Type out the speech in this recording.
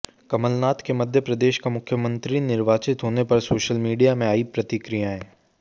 कमलनाथ के मध्य प्रदेश का मुख्यमंत्री निर्वाचित होने पर सोशल मीडिया में आई प्रतिक्रियाएं